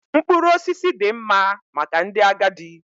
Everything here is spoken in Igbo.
Mkpụrụ osisi dị mma maka ndị agadi